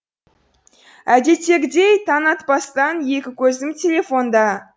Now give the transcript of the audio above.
әдеттегідей таң атпастан екі көзім телефонда